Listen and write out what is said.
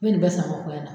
N ye nin bɛɛ sange fɔ n na